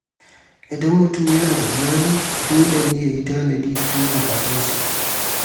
Idan mutum yana da iyali, dole ne ya yi tanadi don buƙatun su.